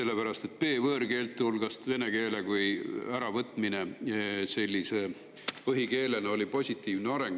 B-võõrkeelte hulgast vene keele äravõtmine põhikeelena oli positiivne areng.